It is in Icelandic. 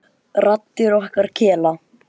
Raddir okkar kela.